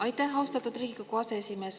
Aitäh, austatud Riigikogu aseesimees!